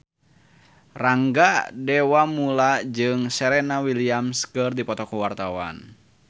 Rangga Dewamoela jeung Serena Williams keur dipoto ku wartawan